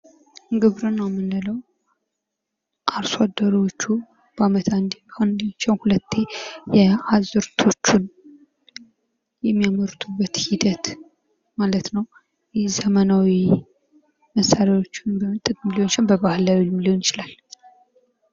ግብርና የምንለው አርሶ አደሮቹ በዓመት አንዴ አንዴ ሳይሆን ሁለቴ አዝዕርቶቹ የሚያመርቱበት ሂደት ማለት ነው ።ይህ ዘመናዊ መሣሪያዎችን በመጠቀም ሊሆን ይችላል በባህላዊም ሊሆን ይችላል ።